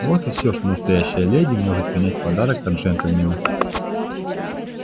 вот и всё что настоящая леди может принять в подарок от джентльмена